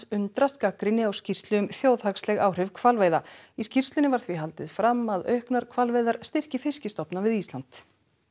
undrast gagnrýni á skýrslu um þjóðhagsleg áhrif hvalveiða í skýrslunni var því haldið fram að auknar hvalveiðar styrki við Ísland